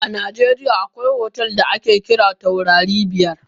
A najeriya akwai otel da ake kira taurari biyar.